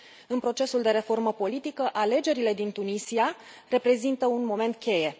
În procesul de reformă politică, alegerile din Tunisia reprezintă un moment cheie.